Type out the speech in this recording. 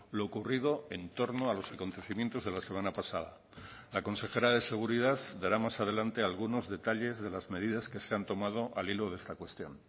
lo ocurrido en torno a los acontecimientos de la semana pasada la consejera de seguridad dará más adelante algunos detalles de las medidas que se han tomado al hilo de esta cuestión